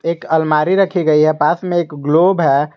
एक अलमारी रखी गई है पास में एक ग्लोब है।